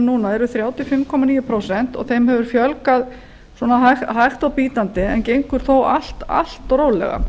núna eru þrjátíu og fimm komma níu prósent og þeim hefur fjölgað svona hægt og bítandi en gengur þó allt of rólega